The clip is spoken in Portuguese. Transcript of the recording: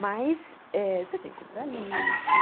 Mas eh você tem que comprar livro.